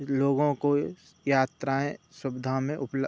लोगों को यात्राएं सुविधा में उपलब्ध --